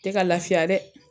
Tɛ ka lafiya dɛ